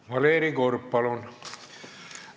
Valeri Korb, palun!